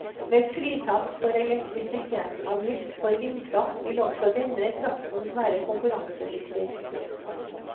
Med fritak for elektrisitetsavgift for vindkraft vil også denne kraften være konkurransedyktig.